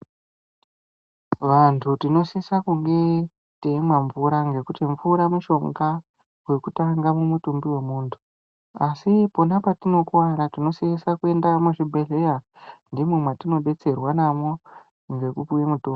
Vantu tanosise kunge teimwa mvura ngekuti mvura mushonga wekutanga mumutumbi wemuntu, asi pona patinokuwara tinosise kuenda muzvibhedhleya ndimo mwatinodetserwa namwo ngekupuwa mitombo.